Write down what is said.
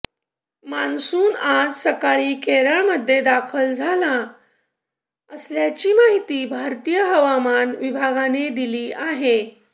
monsoon आज सकाळी केरळमध्ये दाखल झाला असल्याची माहिती भारतीय हवामान विभागाने दिली आहे